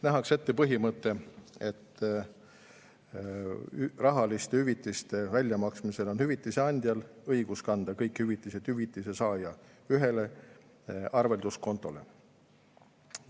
Nähakse ette põhimõte, et rahaliste hüvitiste väljamaksmisel on hüvitise andjal õigus kanda kõik hüvitised hüvitise saaja ühele arvelduskontole.